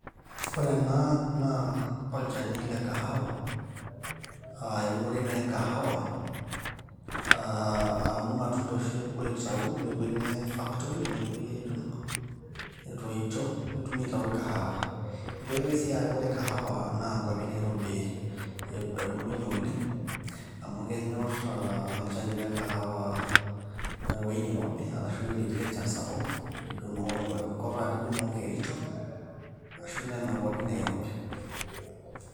ore ena naa olchani le kahawa aa eunore naa e kahawa aa amu irmatunda oshi aitau nepuoi neyai factory nepuoi aidong etoito netumi aitayu kahawa[CS nitoki sii aaku ore kahawa naa nkuapi naiirobi ebulunyie oleng amu kenyorr olchani le kahawa aa ewueji nirobi arashu enkop natii enchan sapuk enkop nijoo noo kericho ashu nena kuapi naiirobi.